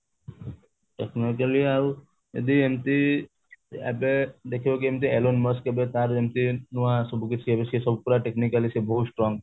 technologically ଆଉ ଯଦି ଏମିତି ଏବେ ଦେଖିବ କି କେମିତି alone boss କେବେ ତାର କେମିତି ନୂଆ ସବୁକିଛି ଏବେ ସିଏ ପୁରା technically ସେ ବହୁତ strong